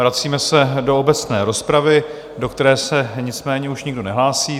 Vracíme se do obecné rozpravy, do které se nicméně už nikdo nehlásí.